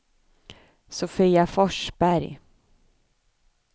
Sofia Forsberg